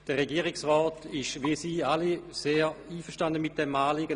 Der Regierungsrat ist, wie Sie alle, sehr einverstanden mit diesem Anliegen.